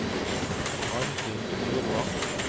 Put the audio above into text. Arnfinn Myrvang